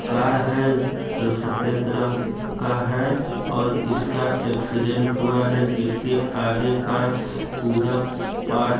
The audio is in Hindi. कार है जो सफेद रंग का है और इसका एक्सीडेंट हुआ है जिसके आगे का पूरा पार्ट --